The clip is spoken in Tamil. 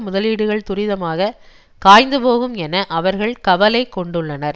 முதலீடுகள் துரிதமாக காய்ந்து போகும் என அவர்கள் கவலைகொண்டுள்ளனர்